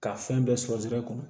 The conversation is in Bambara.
Ka fɛn bɛɛ sɔrɔ sira kɔnɔ